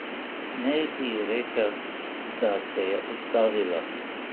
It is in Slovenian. Ne bi rekel, da se je ustavilo.